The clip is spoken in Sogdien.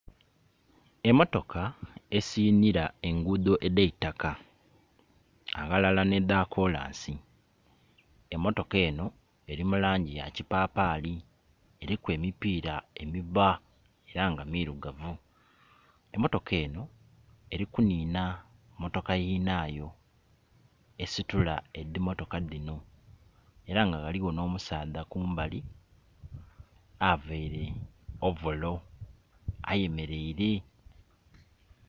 Emotoka esinhira engudho edheitaka aghalala ne dha kolansi emotoka eno eri mu langi ya kipapali, eriku emipira emibba era nga mirugavu. Emotoka eno eri ku nhina motoka yinayo esitula edhimotoka dhino era nga ghaligho nho musadha kumbali aveire ovolo ayemereire.